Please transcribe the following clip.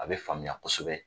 A bɛ faamuya kosɛbɛ.